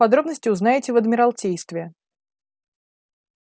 подробности узнаете в адмиралтействе